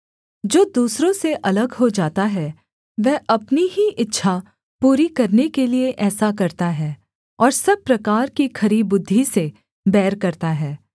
जो दूसरों से अलग हो जाता है वह अपनी ही इच्छा पूरी करने के लिये ऐसा करता है और सब प्रकार की खरी बुद्धि से बैर करता है